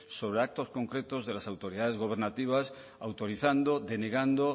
sobre actos concretos de las autoridades gubernativas autorizando denegando